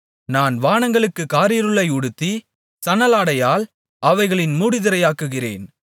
நான் வானங்களுக்குக் காரிருளை உடுத்தி சணலாடையால் அவைகளின் மூடுதிரையாக்குகிறேன்